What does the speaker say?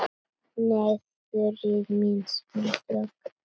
Nei, Þuríður mín, smá djók.